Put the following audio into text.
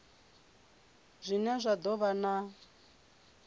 zwine zwa do vha na